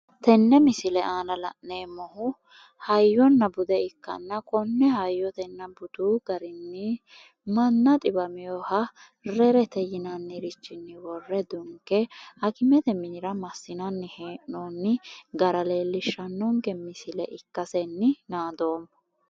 tenne misile aana la'neemmohu hayyona bude ikkanna konne hayyotenna budu garinni manna xiwaminoha rerete yinannirichinni worre dunke hakimete minira massinanni hee'noonni gara leellishshanonke misile ikkasenni naadoomma.